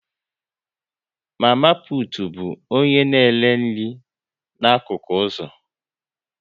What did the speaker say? Mama putu bụ onye na-ere nri n'akụkụ ụzọ